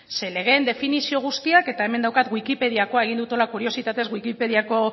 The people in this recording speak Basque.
ze legeen definizio guztiak eta hemen daukat wikipediakoa egin dut hola kuriositatez wikipediako